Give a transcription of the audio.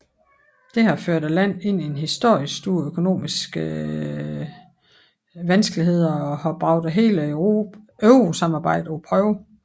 Det har ført landet ind i historisk store økonomiske vanskeligheder og har bragt hele eurosamarbejdet på prøve